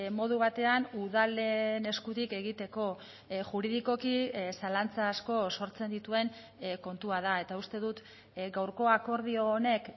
modu batean udalen eskutik egiteko juridikoki zalantza asko sortzen dituen kontua da eta uste dut gaurko akordio honek